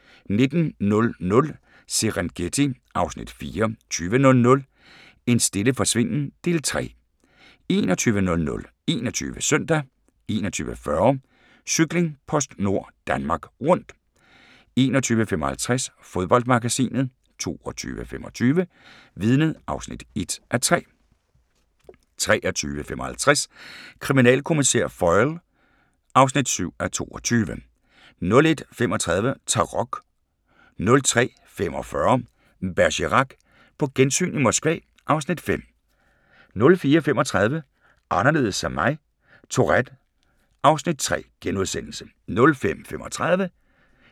19:00: Serengeti (Afs. 4) 20:00: En stille forsvinden – del 3 21:00: 21 Søndag 21:40: Cykling: PostNord Danmark Rundt 21:55: Fodboldmagasinet 22:25: Vidnet (1:3) 23:55: Kriminalkommissær Foyle (7:22) 01:35: Tarok 03:45: Bergerac: På gensyn i Moskva (Afs. 5) 04:35: Anderledes som mig - Tourette (Afs. 3)*